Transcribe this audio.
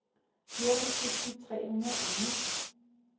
fjorten tusind tre hundrede og ni